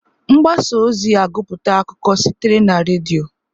Mgbasa ozi agụputa akụkọ sitere na redio.